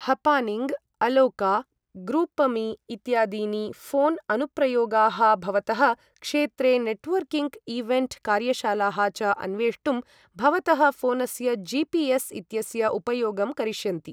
हपानिंग, अलोका, ग्रूपमी इत्यादीनि फ़ोन अनुप्रयोगाः भवतः क्षेत्रे नेटवर्किंग इवेण्ट् कार्यशालाः च अन्वेष्टुं भवतः फ़ोनस्य जिपिएस् इत्यस्य उपयोगं करिष्यन्ति ।